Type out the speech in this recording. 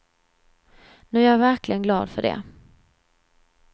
Nu är jag verkligen glad för det.